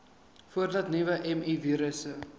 voordat nuwe mivirusse